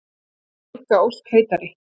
Á enga ósk heitari.